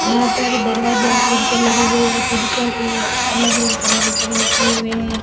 यहां पर दरवाजा और खिड़कीया लगी गई है खिड़कियों के अलग अलग तरह के कलर किये हुए हैं।